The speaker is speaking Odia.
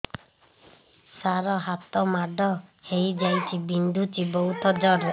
ସାର ହାତ ମାଡ଼ ହେଇଯାଇଛି ବିନ୍ଧୁଛି ବହୁତ ଜୋରରେ